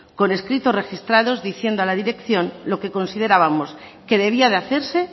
con escritos registrados diciendo a la dirección lo que considerábamos que debía de hacerse